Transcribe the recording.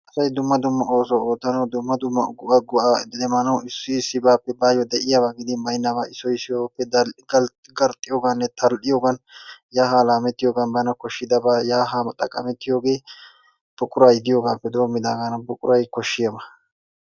Asay dumma dumma oosuwa oottanaw dumma dumma go'a go'a ixxidi maanaw issi issibaappe baayyo de'iyaaba gidin baynnaaba issoy issoy garxxiyoogan tal''iyoogan yaa haa laammetiyoogan bana koshshidaaba yaa haa xaqqamettiyoogee buquray diyoogappe demmidaagana. Buquray koshshiyaaba.